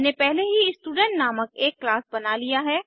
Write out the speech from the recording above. मैंने पहले ही स्टूडेंट नामक एक क्लास बना लिया है